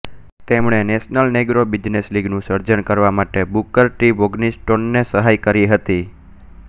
તેમણે National Negro Business લીગનું સર્જન કરવા માટે બુકર ટી વોશિગ્ટોનને સહાય કરી હતી